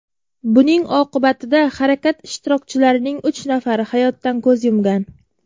Buning oqibatida harakat ishtirokchilarining uch nafari hayotdan ko‘z yumgan.